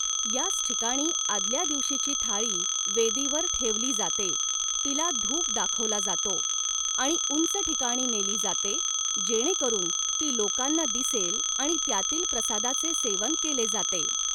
याच ठिकाणी आदल्या दिवशीची थाळी वेदीवर ठेवली जाते, तिला धूप दाखवला जातो, आणि उंच ठिकाणी नेली जाते जेणेकरून ती लोकांना दिसेल आणि त्यातील प्रसादाचे सेवन केले जाते.